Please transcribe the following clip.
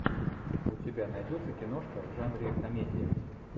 у тебя найдется киношка в жанре комедия